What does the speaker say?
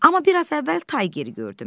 Amma biraz əvvəl tay ger gördüm.